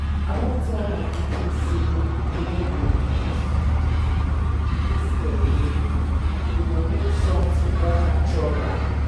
i don tell my pikin say we no go dey use detergent again instead we go make something more natural